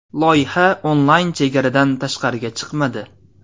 Loyiha onlayn chegaradan tashqariga chiqmadi.